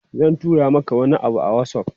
Zan tura maka wani abu a WhatsApp.